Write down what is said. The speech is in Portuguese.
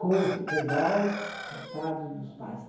Com o futebol, coitados dos pais.